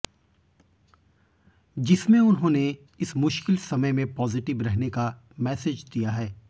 जिसमें उन्होंने इस मुश्किल समय में पॉजिटिव रहने का मैसेज दिया है